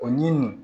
O ɲini